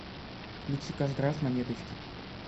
включи каждый раз монеточки